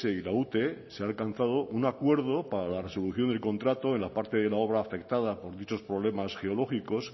y la ute se ha alcanzado un acuerdo para la resolución del contrato en la parte de la obra afectada por dichos problemas geológicos